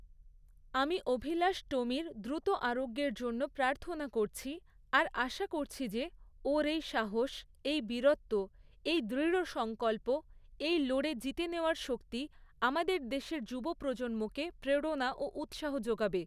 আমি অভিলাষ টোমির দ্রুত আরোগ্যের জন্য প্রার্থনা করছি, আর আশা করছি যে, ওর এই সাহস, এই বীরত্ব, এই দৃঢ়সংকল্প, এই লড়ে জিতে নেওয়ার শক্তি আমাদের দেশের যুব প্রজন্মকে প্রেরণা ও উৎসাহ যোগাবে।